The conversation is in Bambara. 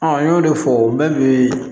n y'o de fɔ n bɛ